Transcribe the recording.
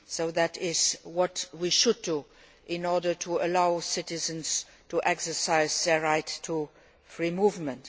That is what we should do in order to allow citizens to exercise their right to free movement.